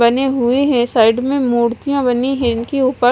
बनें हुए है साइड में मुर्तिया बनी है इनके उपर--